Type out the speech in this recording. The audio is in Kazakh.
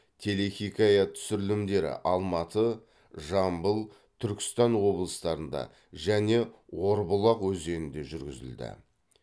телехикая түсірілімдері алматы жамбыл түркістан облыстарында және орбұлақ өзенінде жүргізілді